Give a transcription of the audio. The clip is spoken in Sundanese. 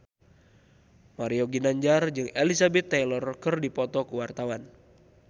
Mario Ginanjar jeung Elizabeth Taylor keur dipoto ku wartawan